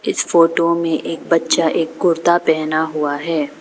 इस फोटो में एक बच्चा एक कुर्ता पहना हुआ है।